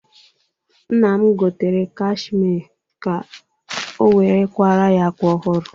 Nna m gotere kashmie ka o were kwara ya ákwà ọhụrụ.